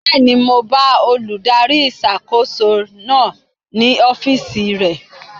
Bẹ́ẹ̀ni, mo bá olùdarí ìṣàkóso náà ní ọ́fìsì rẹ̀